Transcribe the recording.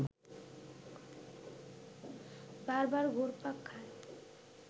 বারবার ঘুরপাক খায়